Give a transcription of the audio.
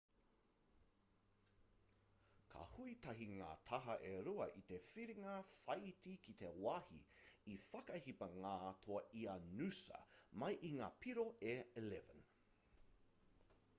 ka hui tahi ngā taha e rua i te whiringa whāiti ki te wāhi i whakahipa ngā toa i a noosa mai i ngā piro e 11